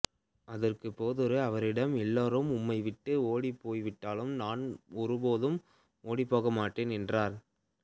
அதற்குப் பேதுரு அவரிடம் எல்லாரும் உம்மை விட்டு ஓடிப்போய்விட்டாலும் நான் ஒருபோதும் ஓடிப்போக மாட்டேன் என்றார்